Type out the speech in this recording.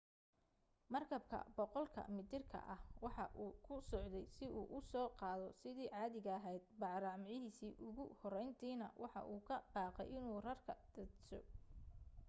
markabka 100 ka mitirka ah waxa uu ku socday si uu u soo qaado sidii caadiga ahayd bacrimiyihiisii ugu horrayntiina waxa uu ka baqay inuu rarka daadsho